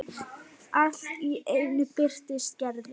Allt í einu birtist Gerður.